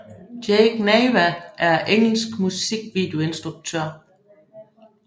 Jake Nava er en engelsk musikvideoinstruktør